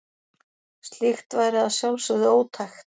Slíkt væri að sjálfsögðu ótækt.